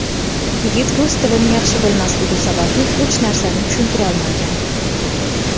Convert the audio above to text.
Yigit rus tilini yaxshi bilmasligi sababli hech narsani tushuntirolmagan.